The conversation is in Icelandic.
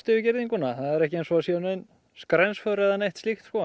yfir girðinguna það er ekki eins og það séu nein skrensför eða neitt